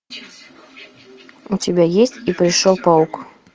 у тебя есть и пришел паук